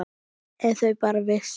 Ef þau bara vissu.